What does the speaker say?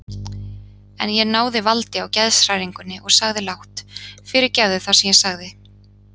En ég náði valdi á geðshræringunni og sagði lágt: Fyrirgefðu það sem ég sagði.